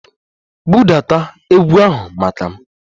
Budata egwu ahụ maka m!